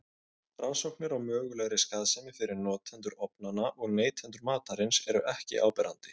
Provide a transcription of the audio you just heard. Rannsóknir á mögulegri skaðsemi fyrir notendur ofnanna og neytendur matarins eru ekki áberandi.